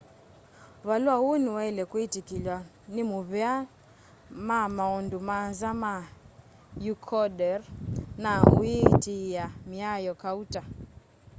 valua uu niwaile kwitikilw'a ni muvea ma maundu manza ma ecuador na uyiatiia miao kauta